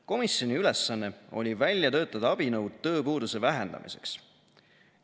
Komisjoni ülesanne oli välja töötada abinõud tööpuuduse vähendamiseks.